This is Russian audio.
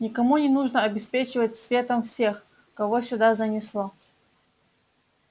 никому не нужно обеспечивать светом всех кого сюда занесло